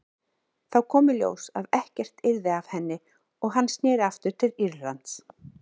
Þá kom í ljós að ekkert yrði af henni og hann sneri aftur til Írlands.